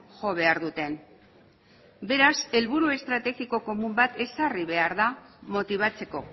jo behar duten beraz helburu estrategiko komun bat ezarri behar da motibatzeko